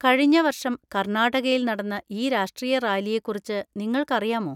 കഴിഞ്ഞ വർഷം കർണാടകയിൽ നടന്ന ഈ രാഷ്ട്രീയ റാലിയെക്കുറിച്ച് നിങ്ങൾക്കറിയാമോ?